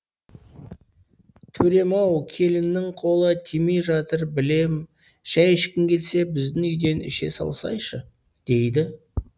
төрем ау келіннің қолы тимей жатыр білем шай ішкің келсе біздің үйден іше салсайшы дейді